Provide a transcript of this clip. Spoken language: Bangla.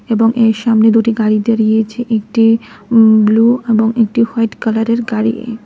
এবং এর সামনে দুটি গাড়ি দাঁড়িয়ে আছে একটি উম ব্লু এবং একটি হোয়াইট কালারের গাড়ি।